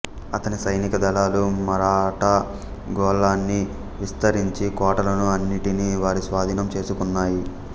అతని సైనిక దళాలు మరాఠా గోళాన్ని విస్తరించి కోటలను అన్నిటినీ వారి స్వాధీనం చేసుకున్నాయి